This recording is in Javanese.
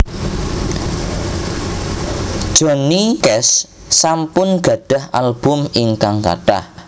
Johnny Cash sampun gadhah album ingkang kathah